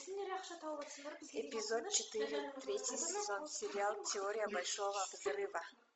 эпизод четыре третий сезон сериал теория большого взрыва